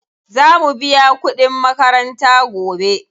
Za mu biya kuɗin makaranta gobe.